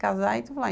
Casar e tudo